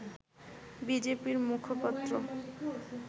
বিজেপি-র মুখপাত্র